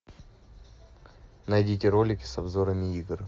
найдите ролики с обзорами игр